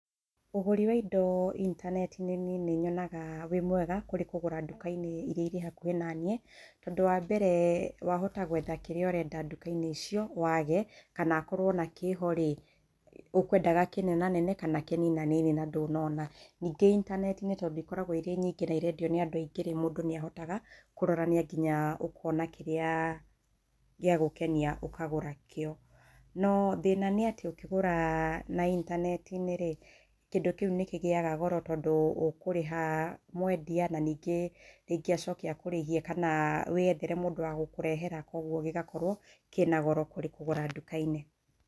Ũgũri wa indo intaneti-inĩ niĩ nĩ nyonaga wĩ mwega kũrĩ kũgũra nduka-inĩ iria irĩ hakũhĩ naniĩ. Tondũ wa mbere wahota gwetha kĩria ũrenda nduka-inĩ icio wage, kana akorwo ona kĩho rĩ, ũkwendaga kĩnenanene kana kĩninanini na ndũnona. Nĩngĩ intaneti-inĩ tondũ ikoragwo ciĩ nyingĩ na irendio nĩ andũ aingĩrĩ, mũndũ nĩ ahotaga kũrorania nginya ũkona kĩrĩa gĩagũkenia ũkagũra kĩo. No thĩna nĩ atĩ ũkĩgũra na intanetirĩ, kĩndũ kĩũ nĩ kĩgĩaga goro tondũ ũkũrĩha mwendia na ningĩ acoke akũrĩhie wĩyethere mũndũ wa gũkũrehera, koguo gĩgakorwo kĩna goro gũkĩra nduka-inĩ.